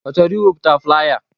Ọ chọrọ iweputa flaya?